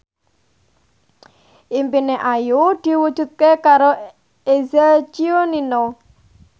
impine Ayu diwujudke karo Eza Gionino